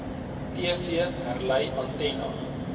tv herlei antenna